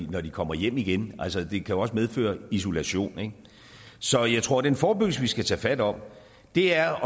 når de kommer hjem igen altså det kan jo også medføre isolation så jeg tror at den forebyggelse vi skal tage fat om er